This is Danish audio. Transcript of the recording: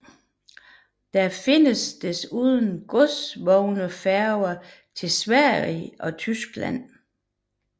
Der findes desuden godsvognsfærger til Sverige og Tyskland